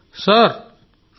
దినేష్ ఉపాధ్యాయ గారు సార్